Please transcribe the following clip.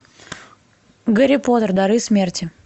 гарри поттер дары смерти